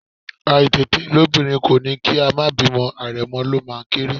Àìtètelóbìnrin kò ní kí a má bímọ̀, àrẹ̀mọ ló máa ń kéré